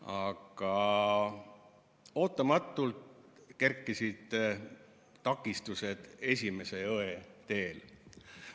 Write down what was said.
Aga ootamatult kerkisid takistused esimese õe teele.